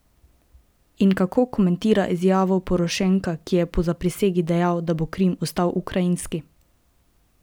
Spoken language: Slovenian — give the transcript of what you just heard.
In kako komentira izjavo Porošenka, ki je po zaprisegi dejal, da bo Krim ostal ukrajinski?